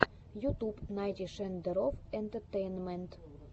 ютуб найти шендерофф энтэтэйнмэнт